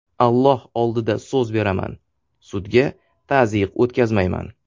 Alloh oldida so‘z beraman, sudga tazyiq o‘tkazmayman.